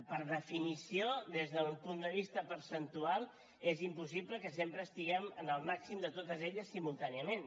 per definició des d’un punt de vista percentual és impossible que sempre estiguem en el màxim de totes simultàniament